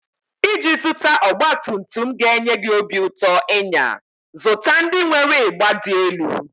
Iji zụta ọgbatumtum ga-enye gị obi ụtọ ịnya, zụta ndị nwere ịgba dị elu.